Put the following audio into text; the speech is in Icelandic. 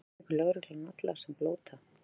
Handtekur lögreglan alla sem blóta?